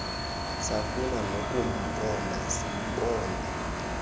safuna nokumbona simbona